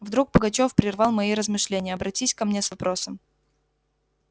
вдруг пугачёв прервал мои размышления обратись ко мне с вопросом